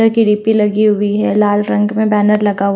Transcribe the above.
र की रेपी लगी हुई है लाल रंग में बैनर लगा --